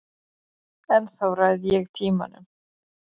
Ennþá ræð ég tímanum.